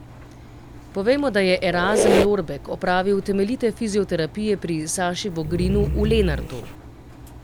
Povejmo, da je Erazem Lorbek opravil temeljite fizioterapije pri Sašu Vogrinu v Lenartu.